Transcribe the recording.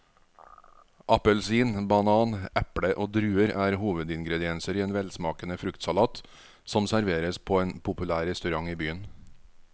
Appelsin, banan, eple og druer er hovedingredienser i en velsmakende fruktsalat som serveres på en populær restaurant i byen.